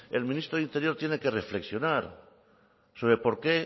el ministro de interior tiene que reflexionar sobre por qué